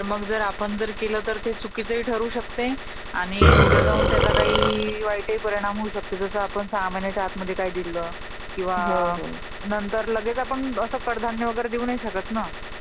नाही तर मग, मग जर आपण जर ते केल तर चुकीच ही ठरू शकतय आणि उद्या जाऊन त्याचा काही वायएत ही परिणाम होऊ शकतोय .. जस आपण सहा महिन्याच्या आतमध्ये काही दिलं , तर नंतर मग लगेच आपण असं कडधान्य वगैरे देऊ नाही शकत ना ?